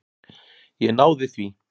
Ég náði því.